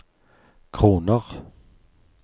kroner